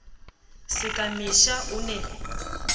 se ka mesha o ne